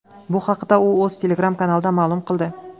Bu haqda u o‘z Telegram-kanalida ma’lum qildi .